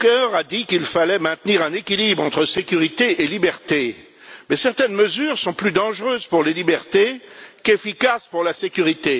Juncker a dit qu'il fallait maintenir un équilibre entre sécurité et liberté, mais certaines mesures sont plus dangereuses pour les libertés qu'efficaces pour la sécurité.